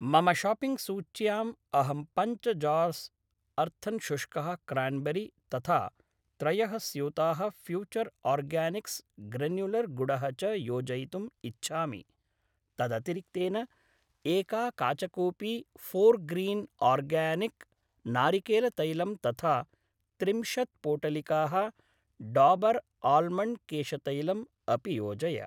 मम शाप्पिङ्ग् सूच्याम् अहं पञ्च जार्स् अर्थन् शुष्कः क्रान्बेरी तथा त्रयः स्यूताः फ्यूचर् आर्गानिक्स् ग्रन्युलर् गुडः च योजयितुम् इच्छामि। तदतिरिक्तेन एका काचकूपी फोर्ग्रीन् आर्गानिक् नारिकेलतैलम् तथा त्रिंशत् पोटलिकाः डाबर् आल्मण्ड् केशतैलम् अपि योजय।